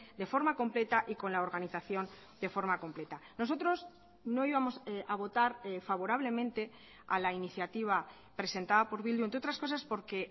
de forma completa y con la organización de forma completa nosotros no íbamos a votar favorablemente a la iniciativa presentada por bildu entre otras cosas porque